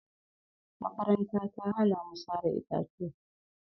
Makaranta ta hana mu sare itatuwa